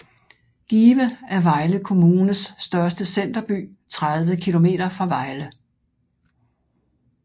Give er Vejle Kommunes største centerby 30 km fra Vejle